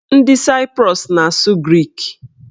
Ndị Saiprus na-asụ grik.